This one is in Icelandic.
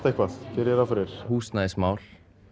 eitthvað geri ég ráð fyrir húsnæðismál